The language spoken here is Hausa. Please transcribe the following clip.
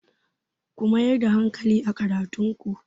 Ku mayar da hankali a karatun ku!